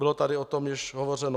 Bylo tady o tom již hovořeno.